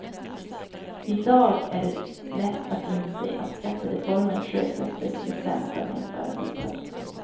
I dag är det lätt att inse att skattereformen sjösattes vid sämsta tänkbara tidpunkt.